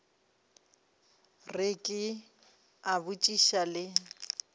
re ke a botšiša le